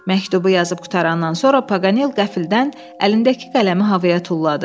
Məktubu yazıb qurtarandan sonra Pagal qəfildən əlindəki qələmi havaya tulladı.